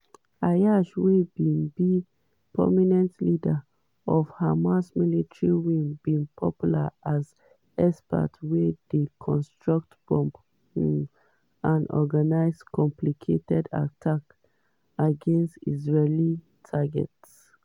ayyash wey bin be prominent leader for hamas military wing bin popular as expert wey dey construct bombs um and organise complicated attacks against israeli targets.